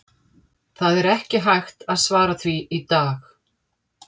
Það er ekki hægt að svara því í dag.